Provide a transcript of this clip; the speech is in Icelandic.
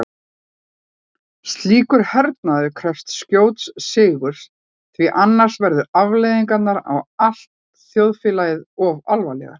Slíkur hernaður krefst skjóts sigurs því annars verða afleiðingarnar á allt þjóðfélagið of alvarlegar.